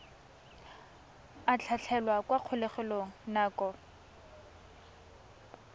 a tlhatlhelwa kwa kgolegelong nako